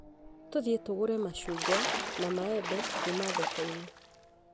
Tũthiĩ tũgũre mashungwa na maembe kuuma thoko-inĩ